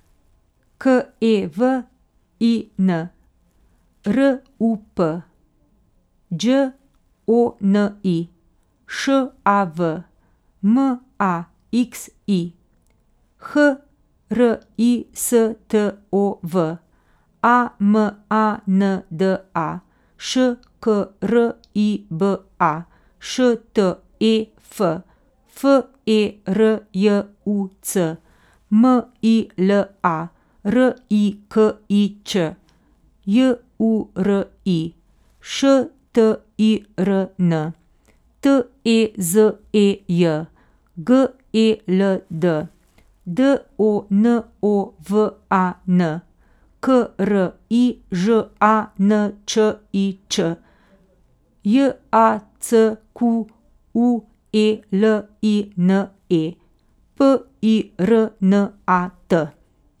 K E W I N, R U P; Đ O N I, Š A V; M A X I, H R I S T O V; A M A N D A, Š K R I B A; Š T E F, F E R J U C; M I L A, R I K I Ć; Y U R I, Š T I R N; T E Z E J, G E L D; D O N O V A N, K R I Ž A N Č I Č; J A C Q U E L I N E, P I R N A T.